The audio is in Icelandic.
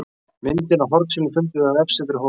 Myndina af hornsílinu fundum við á vefsetri Hólaskóla